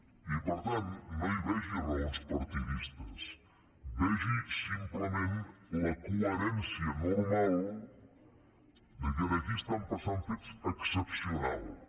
i per tant no hi vegi raons partidistes vegi simplement la coherència normal que aquí estan passant fets excepcionals